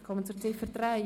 Wir kommen zur Ziffer 3.